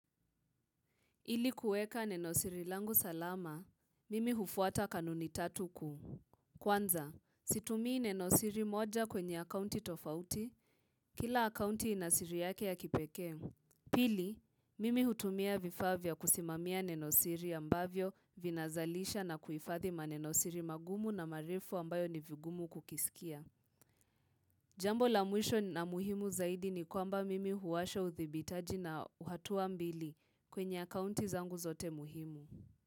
Ili kueka nenosiri langu salama, mimi hufuata kanuni tatu kuu. Kwanza, situmii nenosiri moja kwenye akaunti tofauti, kila akaunti inasiri yake ya kipekee. Pili, mimi hutumia vifaa vya kusimamia nenosiri ambavyo vinazalisha na kuhifadhi manenosiri magumu na marefu ambayo ni vigumu kukisikia. Jambo la mwisho na muhimu zaidi ni kwamba mimi huwasha uthibitaji na uhatua mbili kwenye akaunti zangu zote muhimu.